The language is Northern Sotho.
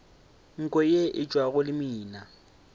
nko ye e tšwago lemina